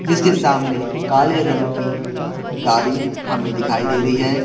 जिसके सामने काले रंग की गाड़ी हमें दिखाई दे रही है।